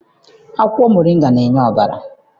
Akwụkwọ moringa na-enye ọbara.